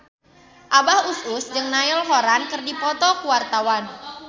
Abah Us Us jeung Niall Horran keur dipoto ku wartawan